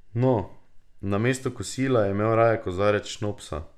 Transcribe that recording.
No, namesto kosila, je imel raje kozarec šnopsa.